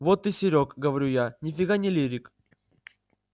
вот ты серёг говорю я ни фига не лирик